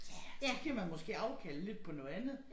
Ja så giver man måske afkald lidt på noget andet